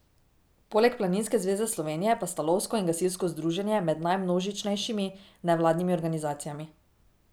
Poleg Planinske zveze Slovenije pa sta lovsko in gasilsko združenje med najmnožičnejšimi nevladnimi organizacijami.